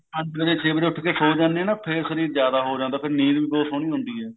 ਹਾਂਜੀ ਸਵੇਰੇ ਛੇ ਵਜੇ ਉੱਠ ਕੇ ਸੋ ਜਾਣੇ ਆ ਨਾ ਫੇਰ ਸ਼ਰੀਰ ਜਿਆਦਾ ਹੋ ਜਾਂਦਾ ਫੇਰ ਨੀਂਦ ਵੀ ਅਹੂਤ ਸੋਹਣੀ ਆਉਂਦੀ ਐ